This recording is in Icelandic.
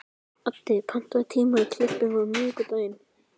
Addi, pantaðu tíma í klippingu á miðvikudaginn.